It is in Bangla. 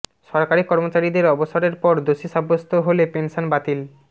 সরকারি কর্মচারীদের অবসরের পর দোষী সাব্যস্ত হলে পেনশন বাতিল